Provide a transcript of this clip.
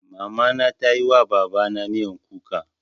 Mama na ta yi wa Baba na miyan kuka.